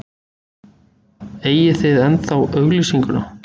Eigið þið ennþá auglýsinguna?